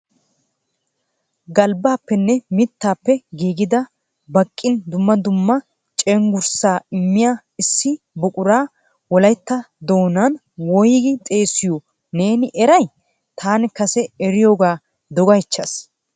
Galbbappenne mittappe giigida baqqin dumma dumma ppcenggurssa immiya issi buqura Wolaytta doonan woyggi xeessiyo neeni eray? taani kase eriyooga dogaychchaas .